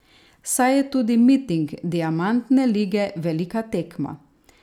Saj je tudi miting diamantne lige velika tekma.